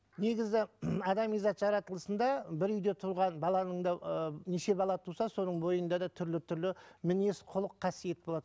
негізі адами зат жаратылысында бір үйде тұрған баланың да ыыы неше бала туса соның бойында да түрлі түрлі мінез құлық қасиет болады